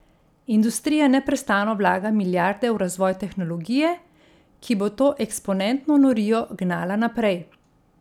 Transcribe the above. Industrija neprestano vlaga milijarde v razvoj tehnologije, ki bo to eksponentno norijo gnala naprej.